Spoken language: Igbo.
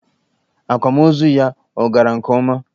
Akwamozu ya ọ gara nke ọma?